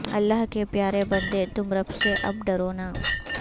اللہ کے پیارے بندے تم رب سے اب ڈرونا